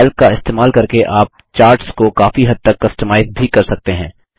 Calc का इस्तेमाल करके आप चार्ट्स को काफी हद तक कस्टमाइज़ भी कर सकते हैं